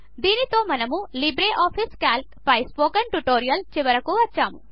దీనితో మనము LibreOffice Calc పై స్పోకెన్ ట్యుటోరియల్ చివరికి వచ్చాము